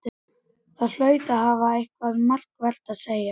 Hann hlaut að hafa eitthvað markvert að segja.